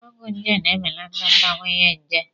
Ọgwụ nje na-ebelata mbawanye njé.